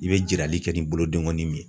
I bɛ jirali kɛ ni bolodengɔnin min ye.